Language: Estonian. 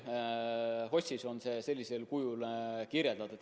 HOS-is on see sellisel kujul kirjas.